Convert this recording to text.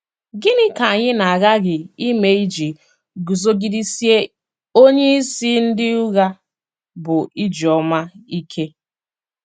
Gịnị ka anyị na - aghaghị ime iji guzogidesie onyeisi ndị ụgha, bụ́ ijeoma, ike?